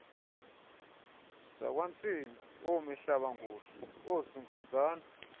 zakwantsimi oomihlabangula oozinkunzane